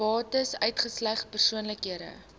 bates uitgesluit persoonlike